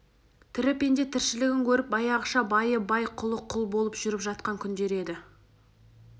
тірі пенде тіршілігін көріп баяғыша байы бай құлы құл болып жүріп жатқан күндер еді